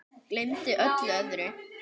Gleymdi öllu öðru.